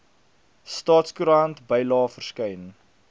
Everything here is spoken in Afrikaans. staatskoerant bylae verskyn